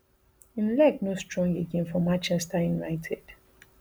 im leg no strong again for manchester united